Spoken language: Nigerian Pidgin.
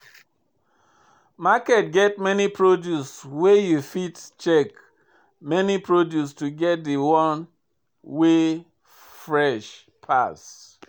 Market get many produce where you fit check many produce to get de one wey fresh pass.